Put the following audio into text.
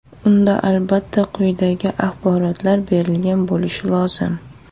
Unda albatta quyidagi axborotlar berilgan bo‘lishi lozim: !